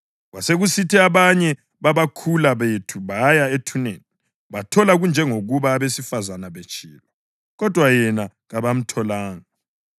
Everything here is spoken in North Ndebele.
Kwasekusithi abanye babakhula bethu baya ethuneni bathola kunjengokuba abesifazane betshilo, kodwa yena kabamtholanga.”